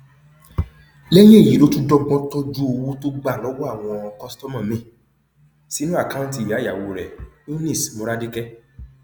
lẹyìn èyí ló tún dọgbọn tọjú àwọn owó tó gbà lọwọ àwọn kọsítọmà míín sínú àkáùntì ìyáìyàwó rẹ eunice moradeke